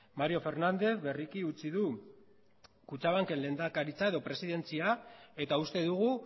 mario fernández berriki utzi du kutxabanken lehendakaritza edo presidentzia eta uste dugu